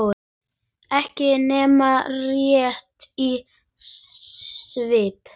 Ekki nema rétt í svip.